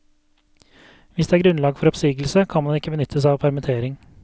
Hvis det er grunnlag for oppsigelse, kan man ikke benytte seg av permittering.